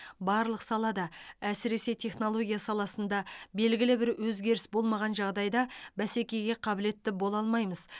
барлық салада әсіресе технология саласында белгілі бір өзгеріс болмаған жағдайда бәсекеге қабілетті бола алмаймыз